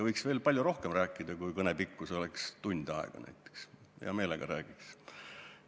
Võiks veel rohkem rääkida, kui kõne pikkus oleks näiteks tund aega, hea meelega räägiks.